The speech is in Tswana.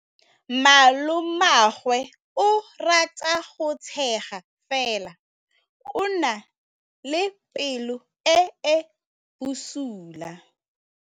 Malomagwe o rata go tshega fela o na le pelo e e bosula.